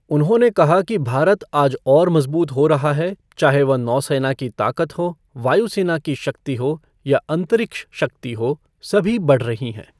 उन्होंने कहा कि भारत आज और मजबूत हो रहा है, चाहे वह नौसेना की ताकत हो, वायु सेना की शक्ति हो, या अंतरिक्ष शक्ति हो, सभी बढ़ रही हैं।